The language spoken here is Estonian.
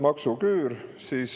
Maksuküür.